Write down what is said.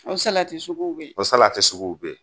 O salati sugu be yen, o salati sugu be yen